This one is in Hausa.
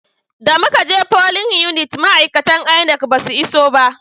Da muka je folin unit ma'aikatan INEC ba su iso ba